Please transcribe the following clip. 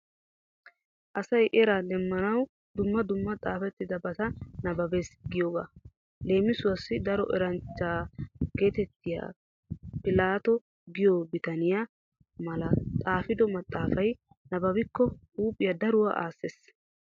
Asay era demmanawu dumma dumma xaafettidabata nabbabees giyogaa. Leemisuwawu daro eranchcha geetettiya pilaatto giyo bitaniya malay xaafido maxaafay nabbabikko huuphiya daruwa aassees.